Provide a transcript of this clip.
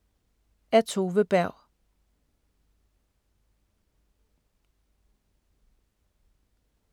Af Tove Berg